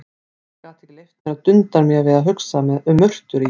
Ég gat ekki leyft mér að dunda mér við að hugsa um murtur í